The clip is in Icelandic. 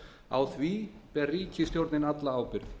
á því ber ríkisstjórnin alla ábyrgð